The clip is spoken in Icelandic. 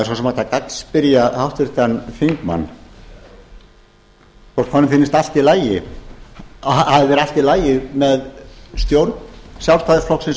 sem hægt að gagnspyrja háttvirtan þingmann hvort honum finnist að það hafi verið allt í lagi með stjórn sjálfstæðisflokknum